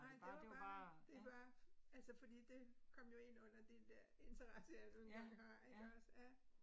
Nej, det var bare, det bare altså fordi det kom jo ind under den der interesse jeg nu engang har ik også ja